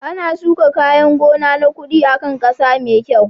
Ana shuka kayan gona na kuɗi a kan ƙasa mai kyau.